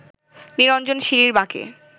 নিরঞ্জন সিঁড়ির বাঁকে